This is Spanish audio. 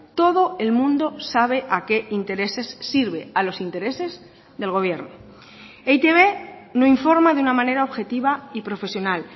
todo el mundo sabe a qué intereses sirve a los intereses del gobierno e i te be no informa de una manera objetiva y profesional